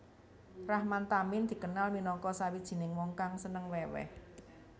Rahman Tamin dikenal minangka sawijining wong kang seneng weweh